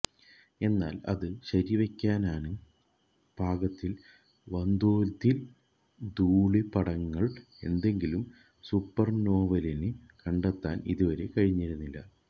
എന്നാല് അത് ശരിവെയ്ക്കാന് പാകത്തില് വന്തോതില് ധൂളീപടലങ്ങള് ഏതെങ്കിലും സൂപ്പര്നോവയില് കണ്ടെത്താന് ഇതുവരെ കഴിഞ്ഞിരുന്നില്ല